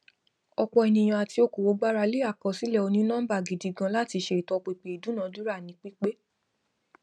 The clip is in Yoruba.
ọpọ ènìyàn àti òkòwò gbarale àkọsílẹ onínọmbà gidi ganan láti ṣe ìtọpinpin ìdúnadúrà ní pípé